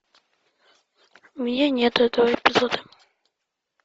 у меня нет этого эпизода